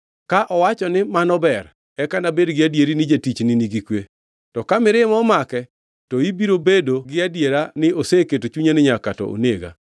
Ka owacho ni, ‘Mano ber,’ eka anabed gi adieri ni jatichni nigi kwe. To ka mirima omake, to ibiro bedo gi adiera ni oseketo chunye ni nyaka to onega.